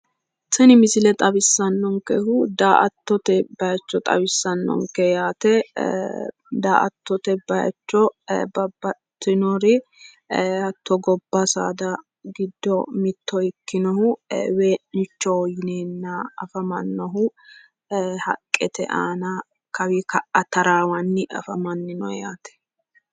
Tini misile xawissannonkehu da"attote bayicho xawissannonke yaate. Da"attote bayicho babbaxxitinori hatto gobba saada giddo mitto ikkinohu wee'nichoho yineenna afamannohu haqqete aana haramanni kaawi ka'a taraawanni haranni afamannino yaate.